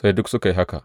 Sai duk suka yi haka.